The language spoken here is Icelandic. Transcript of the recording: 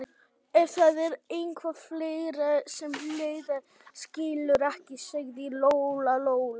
Ef það er eitthvað fleira sem Heiða skilur ekki, sagði Lóa-Lóa.